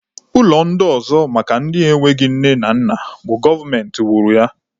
Ụlọ ndị ọzọ maka ndị enweghị nne na nna bụ gọọmenti wuru ya